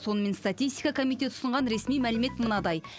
сонымен статистика комитеті ұсынған ресми мәлімет мынадай